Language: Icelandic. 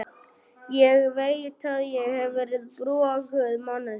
Ég veit að ég hef verið broguð manneskja.